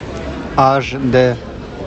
аш д